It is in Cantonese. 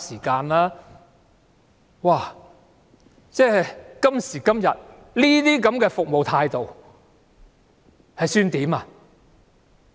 今時今日，這樣的服務態度可以接受嗎？